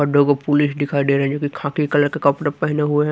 और देखो पुलिस दिखाई दे रही है जोकि खाकी कलर के कपड़े पहने हुए है।